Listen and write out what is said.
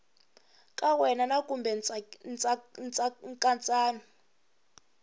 ka wena na kumbe nkatsako